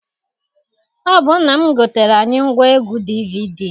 Ọ bụ nna m gotere anyị ngwaegwu DVD.